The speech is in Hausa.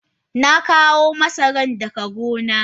Na kawo masaran daga gona.